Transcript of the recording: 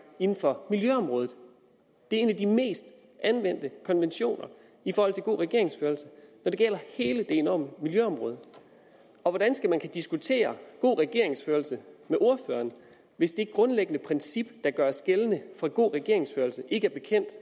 inden for miljøområdet det er en af de mest anvendte konventioner i forhold til god regeringsførelse når det gælder hele det enorme miljøområde og hvordan skal man kunne diskutere god regeringsførelse med ordføreren hvis det grundlæggende princip der gør sig gældende for god regeringsførelse ikke